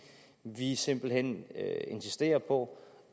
vi simpelt hen insisterer på